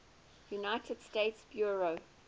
united states bureau